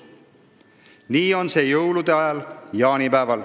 Nii on see jõulude ajal, jaanipäeval.